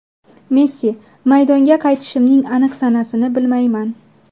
Messi: Maydonga qaytishimning aniq sanasini bilmayman.